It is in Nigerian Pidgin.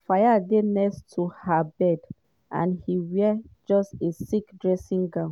fayed dey next to her bed and e wear just a silk dressing gown.